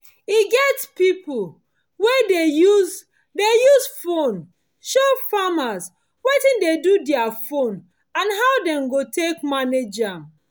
e get pipo wey dey use dey use phone show farmers wetin de do their farm and how dem go take manage am